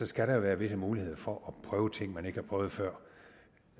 skal der jo være visse muligheder for at prøve ting man ikke har prøvet før